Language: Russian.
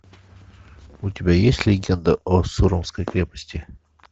у тебя есть легенда о сурамской крепости